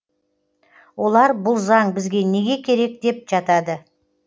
олар бұл заң бізге неге керек деп жатады